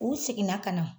U seginna ka na